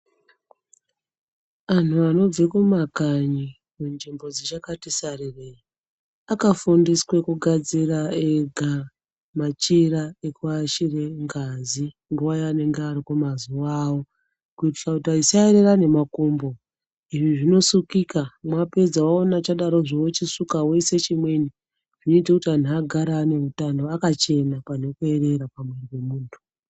Antu anobve kumakanyi kunzvimbo dzichakati sarirei akafundiswe kugadzire ega machira ekuashire ngazi nguwa yaanenge ari kumazuwa awo kuitira kuti asaerera nemakumbo. Izvi zvinosukika, mwapedza waona chadarozvo wochisuka woise chimweni, zvinoite kuti anhu agare ane utano, akachena panhukoerera pantu pemuntu.